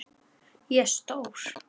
Ég er stór.